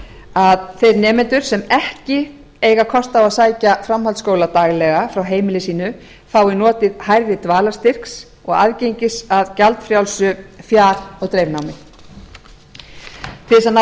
að þeir nemendur sem ekki eiga kost á að sækja framhaldsskóla daglega frá heimili sínu fái notið hærri dvalarstyrks og aðgengis að gjaldfrjálsu fjar og dreifnámi til að ná